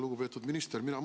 Lugupeetud minister!